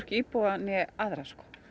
íbúa né aðra